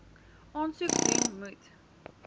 aansoek doen moet